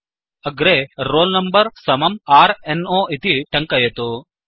अग्रे roll number समं r no इति टङ्कयतु